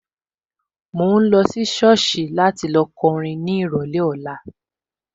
Mo máa lọ sí sọ́ọ̀sì láti lọ kọrin ní ìrọ̀lẹ́ ọ̀la